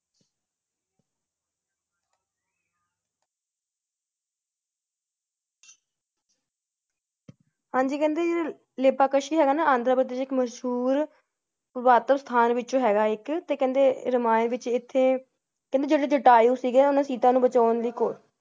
ਹਾਂਜੀ ਕਹਿੰਦੇ ਜੋ ਲਿਪਕਸ਼ੀ ਹੈਗਾ ਨਾ ਆਂਧਰਾਪ੍ਰਦੇਸ਼ ਚ ਇਕ ਮਸ਼ਹੂਰ ਸਥਾਨ ਵਿਚ ਹੈਗਾ ਇੱਕ ਤੇ ਕਹਿੰਦੇ ਰਾਮਾਯਣ ਵਿਚ ਐਥੇ ਕਹਿੰਦੇ ਜਦੋ ਜਟਾਯੁ ਸੀਗੇ ਸੀਤਾ ਨੂੰ ਬਚਾਉਣ ਦਿ ਕੋ~